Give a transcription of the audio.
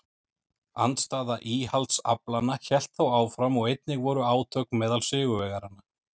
Andstaða íhaldsaflanna hélt þó áfram og einnig voru átök meðal sigurvegaranna.